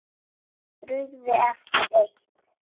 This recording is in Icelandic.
Brugðið eftir eitt.